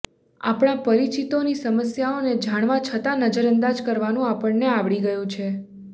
આપણા પરીચિતોની સમસ્યાઓને જાણવા છતાં નજરઅંદાજ કરવાનું આપણને આવડી ગયું છે